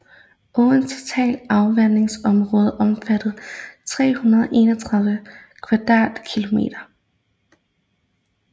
Åens totale afvandingsområde omfatter 331 kvadratkilometer